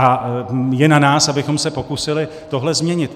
A je na nás, abychom se pokusili tohle změnit.